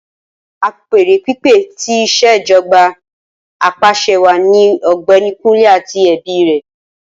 Apeere pipe ti Ìṣèjọba Apàṣẹwàá ni Ọgbẹni Kunle ati ẹbi rẹ